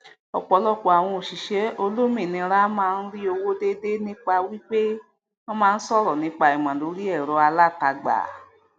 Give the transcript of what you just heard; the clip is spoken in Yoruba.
ọpọlọpọ àwon òṣìṣẹ olómìnira máa ń rí owó déedé nípa wípé wọn màá ń sọrọ nípa ìmọ lórí ẹrọalátagbàa